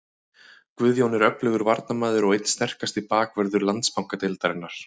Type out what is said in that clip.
Guðjón er öflugur varnarmaður og einn sterkasti bakvörður Landsbankadeildarinnar.